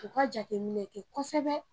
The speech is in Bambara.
U ka jateminɛ kɛ kɔsɛbɛ